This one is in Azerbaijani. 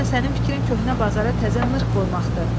Deyəsən sənin fikrin köhnə bazara təzə nırx qoymaqdır.